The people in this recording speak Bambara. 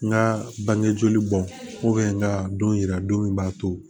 N ka bange joli bɔn n ka don yira don min b'a to